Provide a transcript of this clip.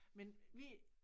Men vi